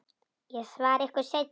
Ég svara ykkur seinna.